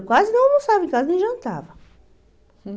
Eu quase não almoçava em casa, nem jantava.